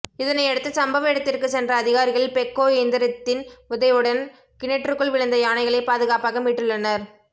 இதனையடுத்து சம்பவ இடத்திற்கு சென்ற அதிகாரிகள் பெக்கோ இயந்திரத்தின் உதவியுடன் கிணற்றுக்குள் விழுந்த யானைகளை பாதுகாப்பாக மீட்டுள்ளனர்